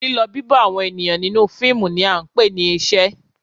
Lílọ, bibo àwọn ènìyàn nínú fíìmù ni à ń pè ní ìṣe.